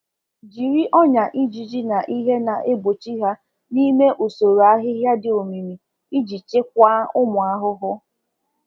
Jiri ngwa igbachi ụfụfụ na ọgwụ na-achụ ha n'usoájá dị ọcha ka e wee jide nje na anụ um ọhịa n'aka. um ọhịa n'aka.